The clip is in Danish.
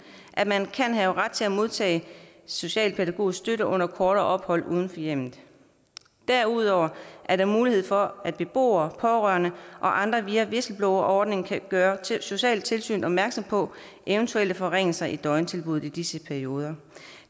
at man kan have ret til at modtage socialpædagogisk støtte under kortere ophold uden for hjemmet derudover er der mulighed for at beboere pårørende og andre via whistleblowerordningen kan gøre socialtilsynet opmærksom på eventuelle forringelser i døgntilbuddet i disse perioder